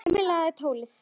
Emil lagði tólið á.